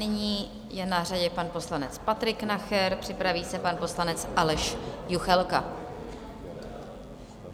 Nyní je na řadě pan poslanec Patrik Nacher, připraví se pan poslanec Aleš Juchelka.